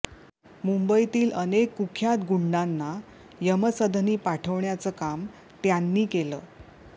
मुंबईतील अनेक कुख्यात गुंडांना यमसदनी पाठवण्याचं काम त्यांनी केलं